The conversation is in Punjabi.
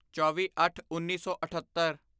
ਚੌਵੀਅੱਠਉੱਨੀ ਸੌ ਅਠੱਤਰ